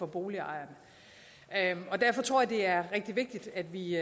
boligejerne og derfor tror jeg det er rigtig vigtigt at vi